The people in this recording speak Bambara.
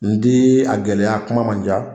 N ti a gɛlɛya kuma man ca